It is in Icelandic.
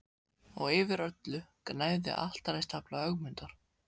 Og yfir öllu gnæfði altaristafla Ögmundar.